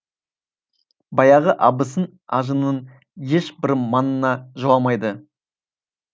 баяғы абысын ажынның ешбірі маңына жоламайды